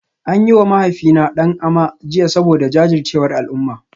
An yi wa mahaifina "Dan Ama" jiya saboda jajircewar al'umma